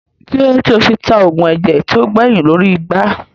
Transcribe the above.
Kílódé tí ó fi ta oògùn ẹ̀jẹ̀ tí ó gbẹyìn lórí igbá